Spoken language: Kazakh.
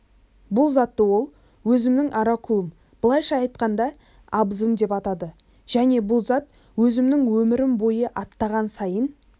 бұл затты ол өзімнің оракулім былайша айтқанда абызым деп атады және бұл зат өзімнің өмірім бойы аттаған сайын